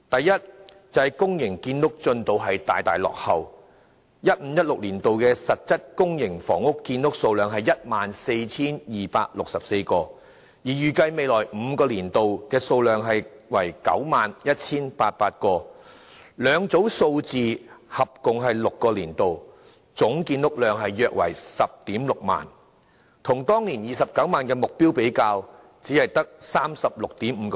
2015-2016 年度實質公營房屋建屋數量是 14,264 個單位，而預計未來5個年度的數量為 91,800 個，兩組數字合共6個年度，總建屋量約為 106,000 個，只佔當年29萬個的建屋目標的 36.5%。